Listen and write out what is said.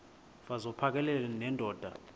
mfaz uphakele nendoda